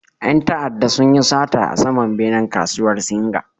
Ƴan ta'adda sunyi sata a saman benen kasuwar singa